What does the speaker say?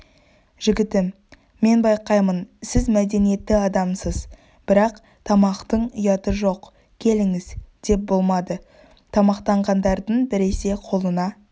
жігітім мен байқаймын сіз мәдениетті адамсыз бірақ тамақтың ұяты жоқ келіңіз деп болмады тамақтанғандардың біресе қолына